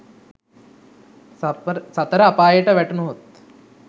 සතර අපායට වැටුණහොත්